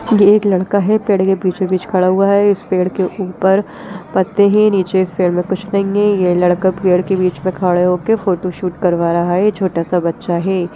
ये एक लड़का है पेड़ के बीचों-बीच खड़ा हुआ है इस पेड़ के ऊपर पत्ते है नीचे इस पेड़ में कुछ नहीं है ये लड़का पेड़ के बीच मे खड़े होके फोटोशूट करवा रहा है छोटा-सा बच्चा है।